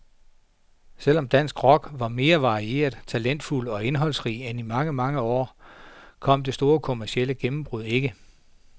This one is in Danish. Selv om dansk rock var mere varieret, talentfuld og indholdsrig end i mange, mange år, kom det store kommercielle gennembrud ikke.